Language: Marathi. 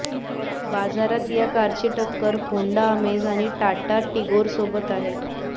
बाजारात या कारची टक्कर होंडा अमेज आणि टाटा टिगोरसोबत आहे